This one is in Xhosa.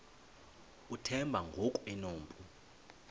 uthemba ngoku enompu